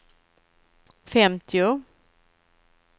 femtio